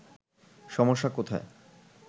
সমস্যা কোথায়”